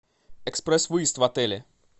экспресс выезд в отеле